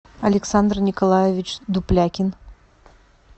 александр николаевич дуплякин